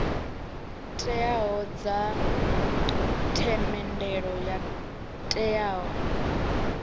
teaho dza themendelo yo teaho